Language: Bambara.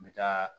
N bɛ taa